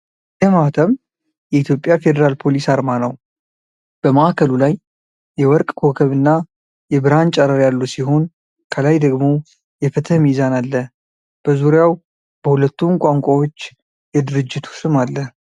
ይህ ማህተም የኢትዮጵያ ፌዴራል ፖሊስ አርማ ነው። በማዕከሉ ላይ የወርቅ ኮከብና የብርሃን ጨረር ያሉ ሲሆን፣ ከላይ ደግሞ የፍትህ ሚዛን አለ። በዙሪያው በሁለቱም ቋንቋዎች የድርጅቱ ስም አለ።